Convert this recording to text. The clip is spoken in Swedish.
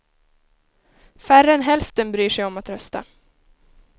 Färre än hälften bryr sig om att rösta.